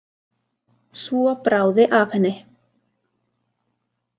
Svo bráði af henni.